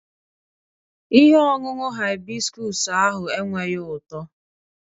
Ihe ọṅụṅụ hibiscus ahụ enweghị ụtọ